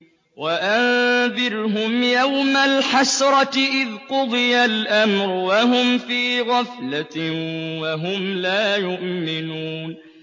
وَأَنذِرْهُمْ يَوْمَ الْحَسْرَةِ إِذْ قُضِيَ الْأَمْرُ وَهُمْ فِي غَفْلَةٍ وَهُمْ لَا يُؤْمِنُونَ